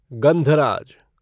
गंधराज